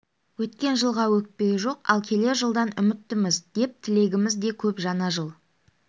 өткен жылға өкпе жоқ ал келер жылдан үмітіміз де тілегіміз де көп жаңа жыл